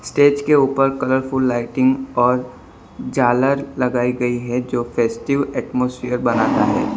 Stage के ऊपर colourful lighting और झालर लगाई गई है जो फेस्टिव एटमॉस्फेयर बनाता है।